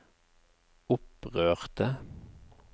opprørte